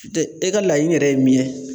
Tɛ e ka laɲini yɛrɛ ye min yɛ